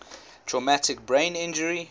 traumatic brain injury